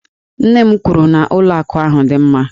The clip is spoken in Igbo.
Nne m kwuru na ụlọ akụ ahụ dị mma